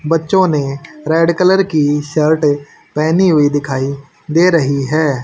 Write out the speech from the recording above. बच्चों ने red colour की शर्टे पहेनी हुई दिखाई दे रही है।